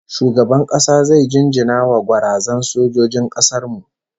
Shugaban kasa zai jinjina wa gwarazan sojojin kasar mu